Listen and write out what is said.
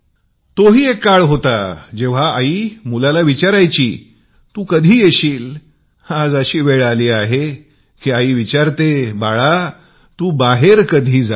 तो ही एक काळ होता जेंव्हा आई मुलाला म्हणायची तू कधी येशील आज अशी वेळ आली आहे की बाळा तू बाहेर कधी जाशील